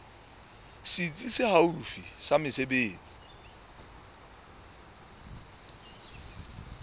setsi se haufi sa mesebetsi